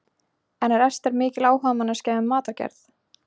En er Ester mikil áhugamanneskja um matargerð?